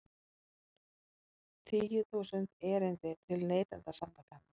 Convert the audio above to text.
Tíu þúsund erindi til Neytendasamtakanna